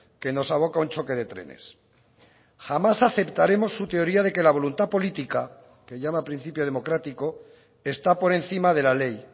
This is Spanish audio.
que nos aboca a un choque de trenes jamás aceptaremos su teoría de que la voluntad política que llama principio democrático está por encima de la ley